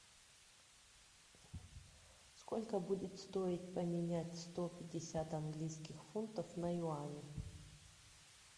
сколько будет стоить поменять сто пятьдесят английских фунтов на юани